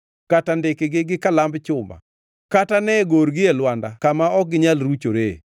kata ndikgi gi kalamb chuma, kata ne gorgi e lwanda kama ok ginyal ruchoree!